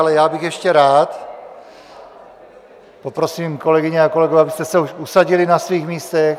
Ale já bych ještě rád, poprosím kolegyně a kolegy, abyste se už usadili na svých místech.